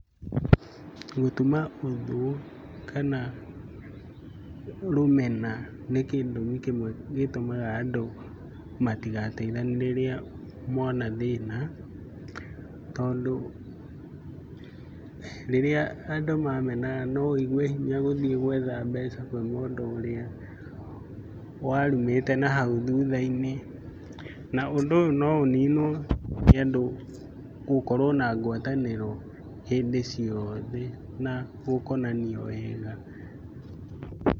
Gũtuma ũthũ kana rũmena nĩ gĩtũmi kĩmwe gĩtũmaga andũ matigateithanie rĩrĩa mona thĩna, tondũ rĩrĩa andũ mamenana no ũigue hinya gũthiĩ gwetha mbeca kwĩ mũndũ ũrĩa warumĩte na hau thutha-inĩ. Na ũndũ ũyũ no ũninwo nĩ andũ gũkorwo na ngwatanĩro hĩndĩ ciothe na gũkonanio wega.